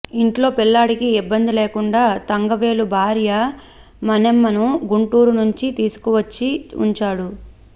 ఇంట్లో పిల్లాడికి ఇబ్బంది లేకుండా తంగవేలు భార్య మణెమ్మను గుంటూరు నుంచి తీసుకువచ్చి ఉంచాడు